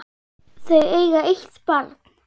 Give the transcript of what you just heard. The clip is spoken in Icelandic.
Þau eiga eitt barn.